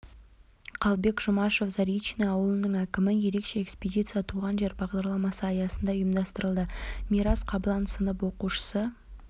қалыбек жұмашов заречный ауылының әкімі ерекше экспедиция туған жер бағдарламасы аясында ұйымдастырылды мирас қаблан сынып оқушысы